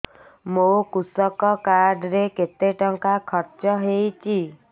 ମୋ କୃଷକ କାର୍ଡ ରେ କେତେ ଟଙ୍କା ଖର୍ଚ୍ଚ ହେଇଚି